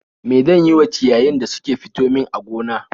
Me zan yi wa ciyayin da suke fito min a gona